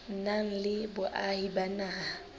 nang le boahi ba naha